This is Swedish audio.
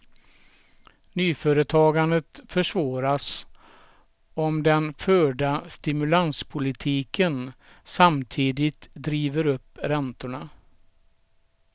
Nyföretagandet försvåras om den förda stimulanspolitiken samtidigt driver upp räntorna.